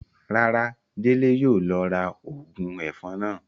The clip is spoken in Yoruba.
Rárá, Dele yóò lọ ra óogun èfọn náa.